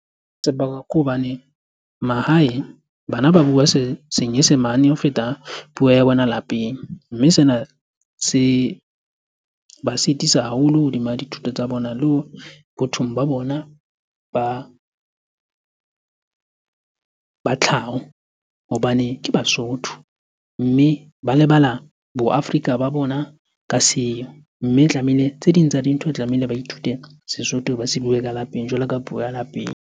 Se bakwa ke hobane mahae bana ba bua senyesemane ho feta puo ya bona lapeng, mme sena se ba sitisa haholo hodima dithuto tsa bona le ho bothong ba bona ba tlhaho hobane ke Basotho, mme ba lebala bo Afrika ba bona ka seo. Mme tlamehile, tse ding tsa dintho tlamehile ba ithute Sesotho ba se bue ka lapeng jwalo ka puo ya lapeng.